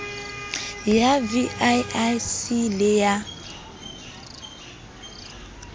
ya vii c le ya